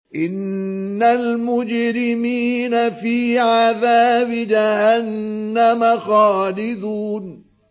إِنَّ الْمُجْرِمِينَ فِي عَذَابِ جَهَنَّمَ خَالِدُونَ